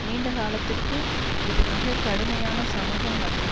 நீண்ட காலத்திற்கு இது மிக கடுமையான சமூக மற்றும்